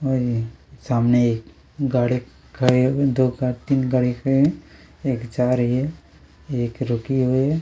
-- और यह सामने एक गाड़ी खड़ी हुई है दो तीन गाड़ियाँ खड़ी हुई है एक जा रही है एक रुकी हुई है।